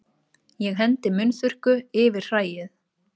Ég hendi munnþurrku yfir hræið.